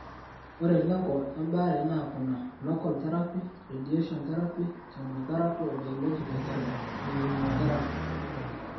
Ore lengo embaare naa kuna, local therapy, radiation therapy, chemotherapy o biologic therapy (immunotherapy).